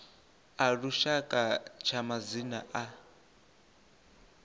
a lushaka tsha madzina a